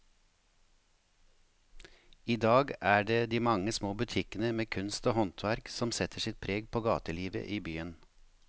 I dag er det de mange små butikkene med kunst og håndverk som setter sitt preg på gatelivet i byen.